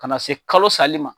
Ka na se kalo sali ma.